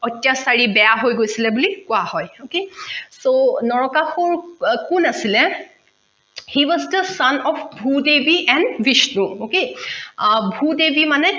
অত্যাচাৰী বেয়া হৈ গৈছিলে বুলি কেৱা হয় okay so নৰকাসুৰ কোন আছিলে he was son of bhudevi and bishnu okay Bhudevi মানে